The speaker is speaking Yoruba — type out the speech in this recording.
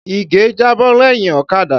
Ìgè jábọ́ lẹ́yìn ọ̀kadà.